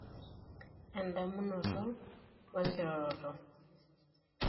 Endamunoto, wengiroroto.